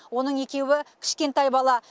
оның екеуі кішкентай бала